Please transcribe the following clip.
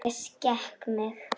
En ég skek mig.